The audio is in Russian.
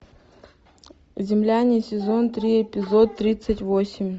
земляне сезон три эпизод тридцать восемь